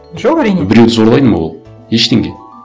жоқ әрине біреуді зорлайды ма ол ештеңе